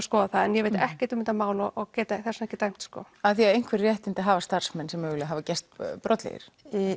skoða það en ég veit ekkert um þetta mál og get þess vegna ekki dæmt af því að einhver réttindi hafa starfsmenn sem mögulega hafa gerst brotlegir